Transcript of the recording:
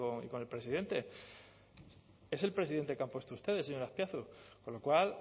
y con el presidente es el presidente que han puesto ustedes señor azpiazu con lo cual